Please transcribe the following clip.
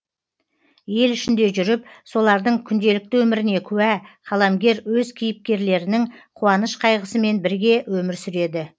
ел ішінде жүріп солардың күнделікті өміріне куә қаламгер өз кейіпкерлерінің қуаныш қайғысымен бірге өмір сүреді